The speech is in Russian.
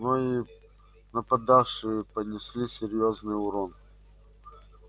но и нападавшие понесли серьёзный урон